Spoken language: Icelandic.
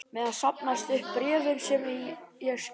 meðan safnast upp bréfin sem ég skrifa þér.